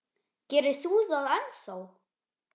Gerir þú það ennþá?